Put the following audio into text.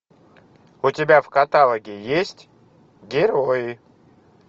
у тебя в каталоге есть герои